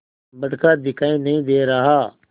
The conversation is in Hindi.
बड़का दिखाई नहीं दे रहा